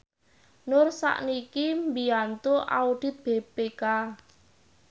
Nur sakniki mbiyantu audit BPK